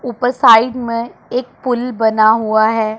ऊपर साइड में एक पुल बना हुआ है।